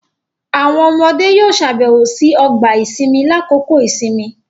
Awọn ọmọde yoo ṣabẹwo si ọgba-isinmi lakoko isinmi